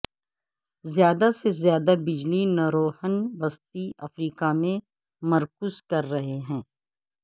زیادہ سے زیادہ بجلی نروہن وسطی افریقہ میں مرکوز کر رہے ہیں